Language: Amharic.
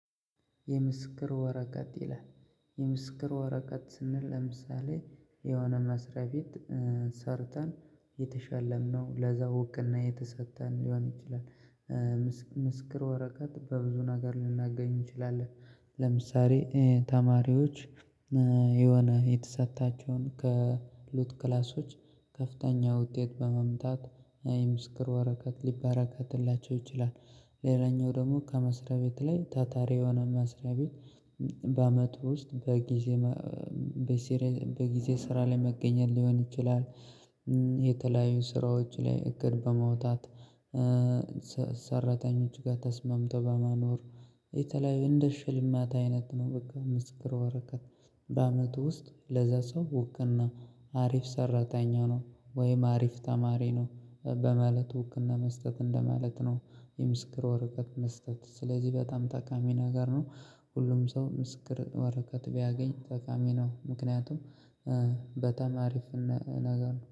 የምስክር ወረቀት ይላል። የምስክር ወረቀት ስንል ለምሳሌ የሆነ መስሪያ ቤት ሰርተን የተሸለምነው ለዛ እውቅና የተሰጠን ሊሆን ይችላል። ምስክር ወረቀት በብዙ ነገር ልናገኝ እንችላለን ለምሳሌ ተማሪዎች የሆነ የተሰጣቸውን ካሉት ክላሶች ከፍተኛ ውጤት በመምጣት የምስክር ወረቀት ሊበረካትላቸው ይችላል። ሌላኛው ደግሞ ከመስሪያ ቤት ላይ ታታሪ የሆነ መስሪያ ቤት በአመቱ ውስጥ በጊዜ በጊዜ ስራ ላይ መገኘት ሊሆን ይችላል። የተለያዩ ስራዎች ላይ እግር በመውጣት። ሰራተኞች ጋር ተስማምተው በማኖር የተለያዩ እንደ ሽልማት አይነት ነው በቃ ምስክር ወረከት በአመቱ ውስጥ ለዛ ሰው እውቅና አሪፍ ሰራተኛ ነው ወይም አሪፍ ተማሪ ነው በማለት እውቅና መስጠት እንደማለት ነው። የምስክር ወረቀት መስጠት ስለዚህ በጣም ጠቃሚ ነገር ነው። ሁሉም ሰው ምስክር ወረቀት ቢያገኝ ጠቃሚ ነው ምክንያቱም በጣማሪፍና ነገር ነው